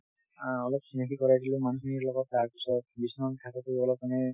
অ অলপ চিনাকি কৰাই দিলোঁ মানুহ খিনিৰ লগত তাৰ পিছত বিশ্বনাথ ঘাটটো অলপ মানে